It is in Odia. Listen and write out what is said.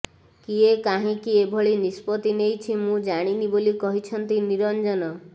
କିଏ କାହିଁକି ଏଭଳି ନିଷ୍ପତ୍ତି ନେଇଛି ମୁଁ ଜାଣିନି ବୋଲି କହିଛନ୍ତି ନିରଞ୍ଜନ